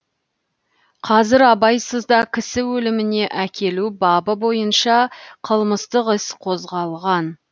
қазір абайсызда кісі өліміне әкелу бабы бойынша қылмыстық іс қозғалған